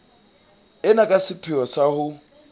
ena ka sepheo sa ho